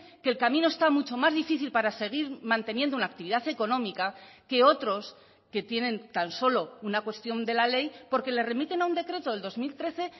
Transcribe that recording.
que el camino está mucho más difícil para seguir manteniendo una actividad económica que otros que tienen tan solo una cuestión de la ley porque le remiten a un decreto del dos mil trece